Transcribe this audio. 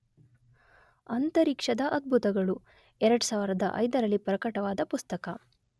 ಅಂತರಿಕ್ಷದ ಅದ್ಭುತಗಳು , ೨೦೦೫ರಲ್ಲಿ ಪ್ರಕಟವಾದ ಪುಸ್ತಕ.